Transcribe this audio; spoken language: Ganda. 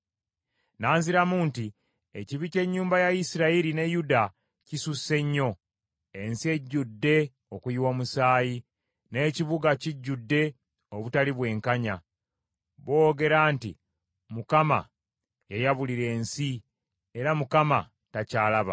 N’anziramu nti, “Ekibi ky’ennyumba ya Isirayiri ne Yuda kisusse nnyo; ensi ejjudde okuyiwa omusaayi, n’ekibuga kijjudde obutali bwenkanya. Boogera nti, ‘ Mukama yayabulira ensi, era Mukama takyalaba.’